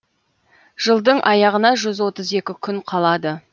жылдың аяғына жүз отыз екі күн қалады